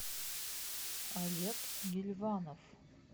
олег гильванов